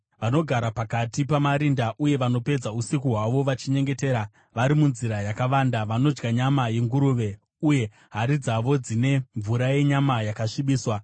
vanogara pakati pamarinda uye vanopedza usiku hwavo vachinyengetera vari munzira yakavanda: vanodya nyama yenguruve, uye hari dzavo dzine furo renyama yakasvibiswa;